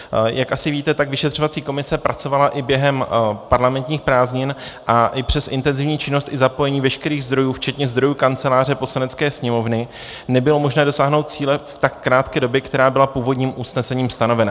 Jak asi více, tak vyšetřovací komise pracovala i během parlamentních prázdnin a i přes intenzivní činnost i zapojení veškerých zdrojů včetně zdrojů Kanceláře Poslanecké sněmovny nebylo možné dosáhnout cíle v tak krátké době, která byla původním usnesením stanovena.